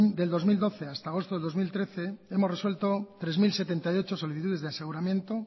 del dos mil doce hasta agosto de dos mil trece hemos resuelto tres mil setenta y ocho solicitudes de aseguramiento